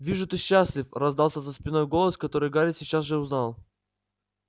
вижу ты счастлив раздался за спиной голос который гарри сейчас же узнал